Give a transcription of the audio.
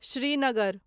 Srinagar